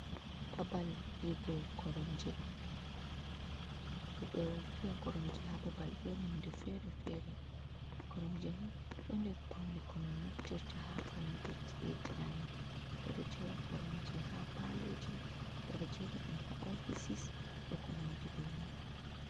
Babal figo koromje ɓe ɗo fiya koromje ha babal ɗo, nonde fere-fere koromje ni ɗo nder paune ko min naftirta ha founu go ci e jiamin ɓeɗo jera koromje ha pa'loji, ɓeɗojera ɗum ha ofisis e ko nandi be man.